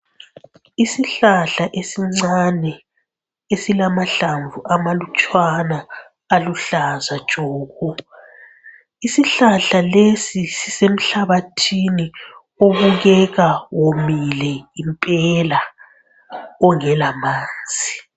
Isihlahla esincane esilamahlamvu amalutshwana aluhlaza tshoko , isihlahla lesi sisemhlabathini obukeka womile impela ongela manzi.